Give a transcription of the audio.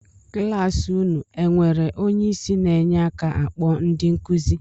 Kịlasị unu e enwere onye isi na-enye aka akpọ ndị nkuzi?